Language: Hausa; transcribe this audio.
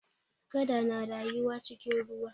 Kada na rayuwa a cikin ruwa.